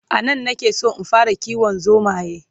anan na ke San in fara kiwon zomaye